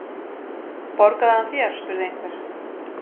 Borgaði hann þér? spurði einhver.